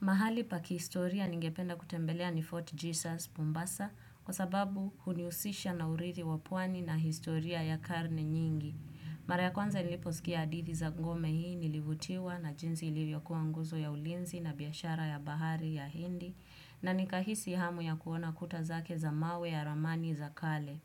Mahali pa kihistoria ningependa kutembelea ni Fort Jesus Mombasa kwa sababu hunihusisha na urithi wa pwani na historia ya karne nyingi. Mara ya kwanza niliposikia hadithi za ngome hii nilivutiwa na jinsi ilivyokuwa nguzo ya ulinzi na biashara ya bahari ya hindi na nikahisi hamu ya kuona kuta zake za mawe ya ramani za kale.